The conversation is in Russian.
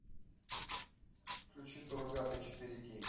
включи суррогаты четыре кей